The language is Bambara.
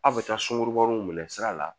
Aw bɛ taa sunkurubaw minɛ sira la